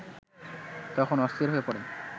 তখন অস্থির হয়ে পড়ে